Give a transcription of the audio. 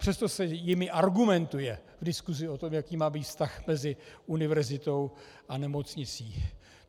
Přesto se jimi argumentuje v diskusi o tom, jaký má být vztah mezi univerzitou a nemocnicí.